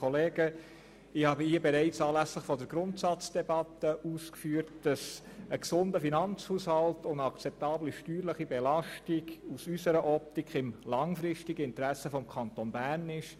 Ich habe bereits anlässlich der Grundsatzdebatte ausgeführt, dass aus unserer Optik ein gesunder Finanzhaushalt und eine akzeptable steuerliche Belastung im langfristigen Interesse des Kantons Bern liegen.